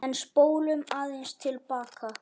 En spólum aðeins til baka.